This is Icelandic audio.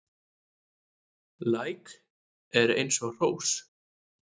Læk er eins og hrós